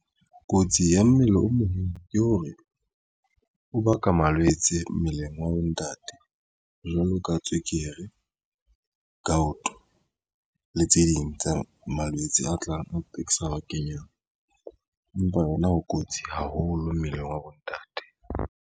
Kotsi ya mmele o mong ke hore o ba ka malwetse mmeleng wa bontate jwalo ka tswekere ka cotton le tse ding tsa malwetse a tlang sa kenyang empa yona ho kotsi haholo mmeleng wa bontate.